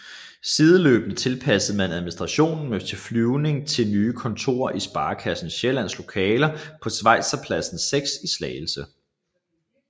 Sideløbende tilpassede man administrationen med flytning til nye kontorer i Sparekassen Sjællands lokaler på Schweizerpladsen 6 i Slagelse